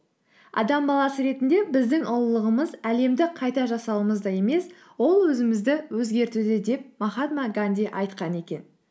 адам баласы ретінде біздің ұлылығымыз әлемді қайта жасауымызда емес ол өзімізді өзгертуде деп махатма ганди айтқан екен